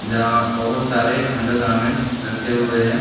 जहाँ बहुत सारे अंडरगारमेंट्स रखे हुए है।